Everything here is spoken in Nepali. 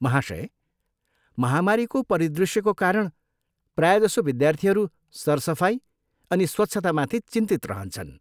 महाशय, महामारीको परिदृष्यको कारण, प्रायजसो विद्यार्थीहरू सरसफाइ अनि स्वच्छतामाथि चिन्तित रहन्छन्।